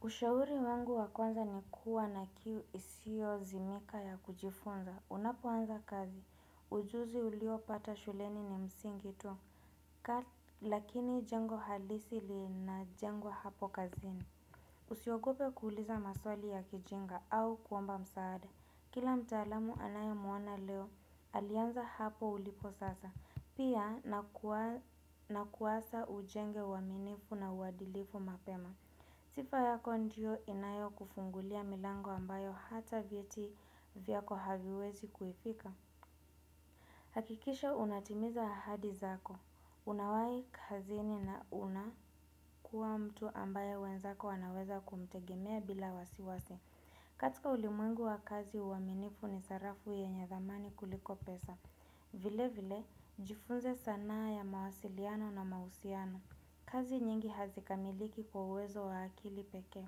Ushauri wangu wa kwanza ni kuwa na kiu isiozimika ya kujifunza. Unapoanza kazi. Ujuzi uliopata shuleni ni msingi tu. Lakini jengo halisi linajengwa hapo kazini. Usiogope kuuliza maswali ya kijinga au kuomba msaada. Kila mtaalamu unayemuona leo, alianza hapo ulipo sasa. Pia na kuasa ujenge uaminifu na uadilifu mapema. Sifa yako ndio inayokufungulia milango ambayo hata vieti vyako haviwezi kuifika. Hakikisha unatimiza ahadi zako. Unawahi kazini na unakuwa mtu ambaye wenzako wanaweza kumtegemea bila wasiwasi. Katika ulimwengu wa kazi uaminifu ni sarafu yenye thamani kuliko pesa. Vile vile, jifunze sanaa ya mawasiliano na mahusiano. Kazi nyingi hazikamiliki kwa uwezo wa akili pekee.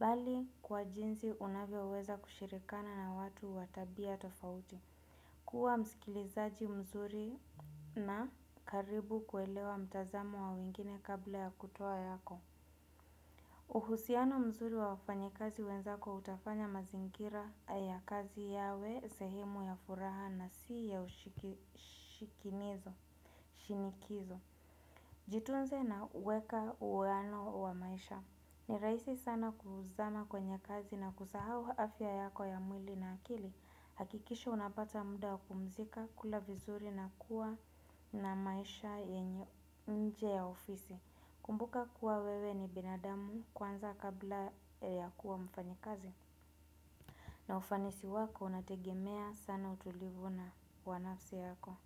Bali kwa jinsi unavyoweza kushirikiana na watu wa tabia tofauti kuwa msikilizaji mzuri na karibu kuelewa mtazamo wa wengine kabla ya kutoa yako uhusiano mzuri wa wafanyikazi wenzako utafanya mazingira ya kazi yawe sehemu ya furaha na si ya ushikinizo, shinikizo Jitunze na weka uwaano wa maisha. Ni rahisi sana kuzama kwenye kazi na kusahau afya yako ya mwili na akili. Hakikisha unapata muda kumzika, kula vizuri na kuwa na maisha yenye nje ya ofisi. Kumbuka kuwa wewe ni binadamu kwanza kabla ya kuwa mfanyi kazi. Na ufanisi wako unategemea sana utulivu na wa nafsi yako.